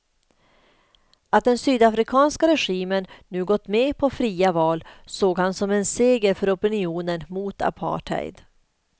Att den sydafrikanska regimen nu gått med på fria val såg han som en seger för opinionen mot apartheid.